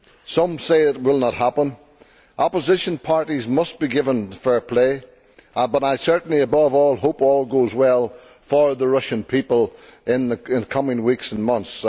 Some say it will not happen. Opposition parties must be given fair play, but above all I certainly hope all goes well for the Russian people in the coming weeks and months.